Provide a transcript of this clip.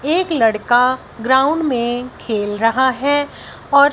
एक लड़का ग्राउंड में खेल रहा है और--